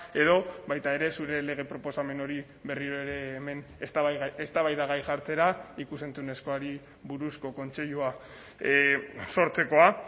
edo baita ere zure lege proposamen hori berriro ere hemen eztabaidagai jartzera ikus entzunezkoari buruzko kontseilua sortzekoa